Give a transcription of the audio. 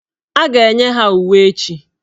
A ga-enye ha uwe ha echi.